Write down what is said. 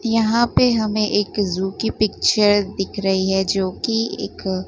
यहां पे हमें एक जू की पिक्चर दिख रही है जो कि एक--